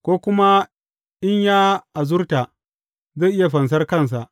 Ko kuma in ya azurta, zai iya fansar kansa.